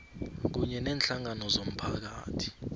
kunye neenhlangano zomphakathi